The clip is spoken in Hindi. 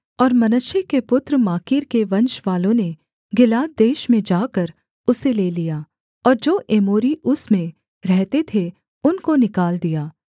और मनश्शे के पुत्र माकीर के वंशवालों ने गिलाद देश में जाकर उसे ले लिया और जो एमोरी उसमें रहते थे उनको निकाल दिया